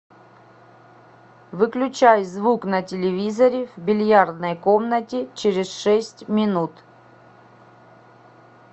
выключай звук на телевизоре в бильярдной комнате через шесть минут